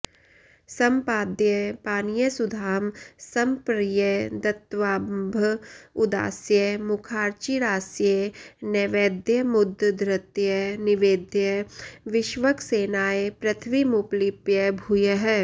सम्पाद्य पानीयसुधां समर्प्य दत्त्वाम्भ उदास्य मुखार्चिरास्ये नैवेद्यमुद्धृत्य निवेद्य विष्वक् सेनाय पृथ्वीमुपलिप्य भूयः